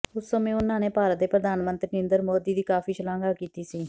ਉਸ ਸਮੇਂ ਉਨ੍ਹਾਂ ਨੇ ਭਾਰਤ ਦੇ ਪ੍ਰਧਾਨ ਮੰਤਰੀ ਨਰਿੰਦਰ ਮੋਦੀ ਦੀ ਕਾਫੀ ਸ਼ਲਾਘਾ ਕੀਤੀ ਸੀ